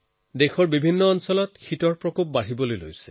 দেশৰ বিস্তৃত অংশত ঠাণ্ডাৰ বতৰেও জোৰেৰে ধৰিছে